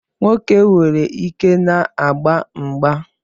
Nwoke nwere ike na-agba mgba